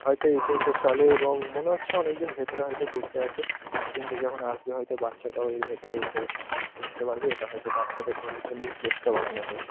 হয়তো এই ট্রেন টা চলে এবং মনে হচ্ছে অনেকজন ভেতরে হয়তো বসে আছে। ট্রেন টা যখন আসবে হয়তো বাচ্চাটাও এর ভেতরে উঠে উঠতে পারবে এটা হয়তো বাচ্চাদের ঘোরার জন্যেই প্লেস টা বানানো হয়েছে।